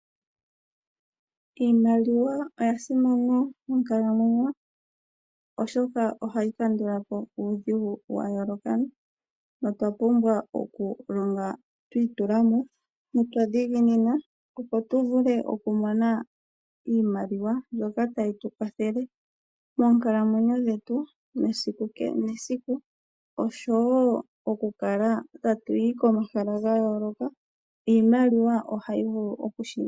Iimaliwa oyasimana monkalamwenyo oshoka ohayi kandulapo uudhigu wayooloka. No twapumbwa okulonga twiitulamo notwadhiginina opo tumone iimaliwa mbyoka tayi tukwathele monkalamwenyo dhetu mesiku kehe mesiku, osho wo okukala tatu tatuyi komahala gayooloka.